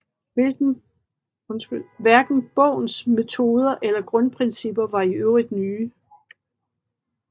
Hverken bogens metoder eller grundprincipper var i øvrigt nye